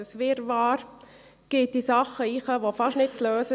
Das Wirrwarr betrifft Dinge und ist fast nicht zu lösen.